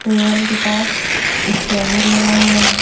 Table के पास scanner लगा हुआ है।